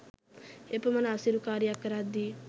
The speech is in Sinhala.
එපමන අසීරු කාරියක් කරද්දී